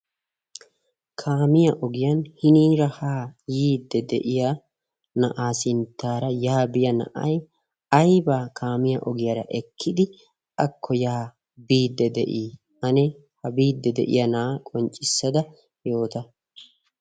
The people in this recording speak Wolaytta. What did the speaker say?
kaamiya ogiyan hiniira ha yiidde de'iya na'aa sinttaara yaabiya na'aY aibaa kaamiya ogiyaara ekkidi akko yaa biidde de'ii ane ha biidde de'iya na'aa qonccissada yoota